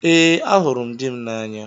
Ee, ahụrụ m dị m n'anya